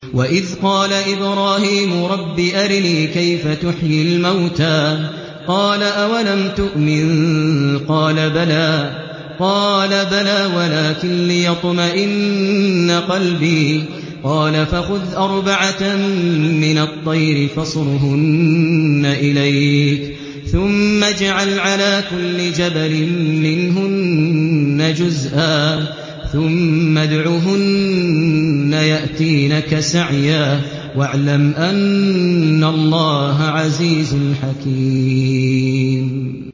وَإِذْ قَالَ إِبْرَاهِيمُ رَبِّ أَرِنِي كَيْفَ تُحْيِي الْمَوْتَىٰ ۖ قَالَ أَوَلَمْ تُؤْمِن ۖ قَالَ بَلَىٰ وَلَٰكِن لِّيَطْمَئِنَّ قَلْبِي ۖ قَالَ فَخُذْ أَرْبَعَةً مِّنَ الطَّيْرِ فَصُرْهُنَّ إِلَيْكَ ثُمَّ اجْعَلْ عَلَىٰ كُلِّ جَبَلٍ مِّنْهُنَّ جُزْءًا ثُمَّ ادْعُهُنَّ يَأْتِينَكَ سَعْيًا ۚ وَاعْلَمْ أَنَّ اللَّهَ عَزِيزٌ حَكِيمٌ